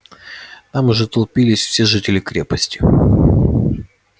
там уже толпились все жители крепости